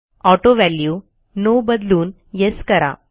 auto value no बदलून yes करा